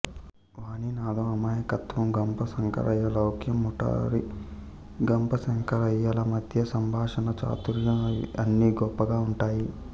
వాణీనాధం అమాయకత్వం గంప శంకరయ్య లౌక్యం మురారి గంపశంకరయ్య ల మధ్య సంభాషణా చాతుర్యం అన్నీ గొప్పగా ఉంటాయి